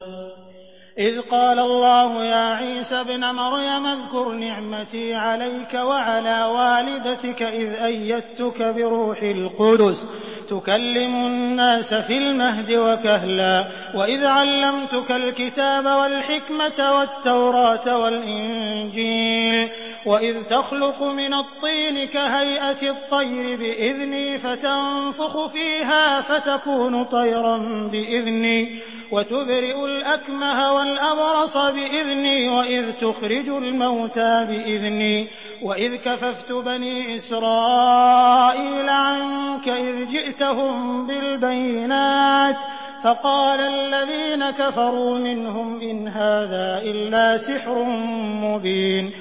إِذْ قَالَ اللَّهُ يَا عِيسَى ابْنَ مَرْيَمَ اذْكُرْ نِعْمَتِي عَلَيْكَ وَعَلَىٰ وَالِدَتِكَ إِذْ أَيَّدتُّكَ بِرُوحِ الْقُدُسِ تُكَلِّمُ النَّاسَ فِي الْمَهْدِ وَكَهْلًا ۖ وَإِذْ عَلَّمْتُكَ الْكِتَابَ وَالْحِكْمَةَ وَالتَّوْرَاةَ وَالْإِنجِيلَ ۖ وَإِذْ تَخْلُقُ مِنَ الطِّينِ كَهَيْئَةِ الطَّيْرِ بِإِذْنِي فَتَنفُخُ فِيهَا فَتَكُونُ طَيْرًا بِإِذْنِي ۖ وَتُبْرِئُ الْأَكْمَهَ وَالْأَبْرَصَ بِإِذْنِي ۖ وَإِذْ تُخْرِجُ الْمَوْتَىٰ بِإِذْنِي ۖ وَإِذْ كَفَفْتُ بَنِي إِسْرَائِيلَ عَنكَ إِذْ جِئْتَهُم بِالْبَيِّنَاتِ فَقَالَ الَّذِينَ كَفَرُوا مِنْهُمْ إِنْ هَٰذَا إِلَّا سِحْرٌ مُّبِينٌ